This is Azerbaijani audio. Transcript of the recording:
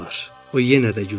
O yenə də güldü.